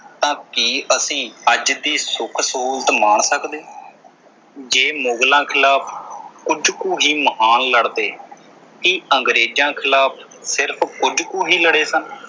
ਤਾਂ ਕੀ ਅਸੀਂ ਅੱਜ ਦੀ ਇਹ ਸੁੱਖ ਸਹੂਲਤ ਮਾਣ ਸਕਦੇ ਜੇ ਮੁਗਲਾਂ ਖ਼ਿਲਾਫ਼ ਕੁਝ ਕੁ ਹੀ ਮਹਾਨ ਲੜਦੇ। ਕੀ ਅੰਗਰੇਜ਼ਾਂ ਖ਼ਿਲਾਫ਼ ਸਿਰਫ ਕੁਝ ਹੀ ਲੜੇ ਸਨ।